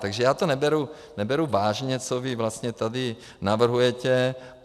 Takže já to neberu vážně, co vy vlastně tady navrhujete.